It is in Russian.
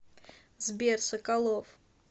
сбер соколов